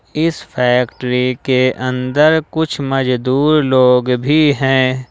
इस फैक्ट्री के अंदर कुछ मजदुर लोग भी हैं।